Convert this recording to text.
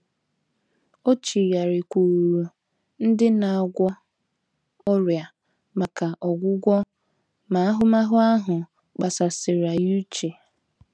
O chigharịkwuuru ndị na - agwọ ọrịa maka “ ọgwụgwọ ” ma ahụmahụ ahụ kpasasịrị ya uche.